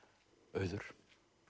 auður